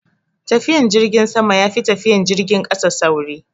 Tafiyan jirgin sama yafi tafiyan jirgin kasa sauri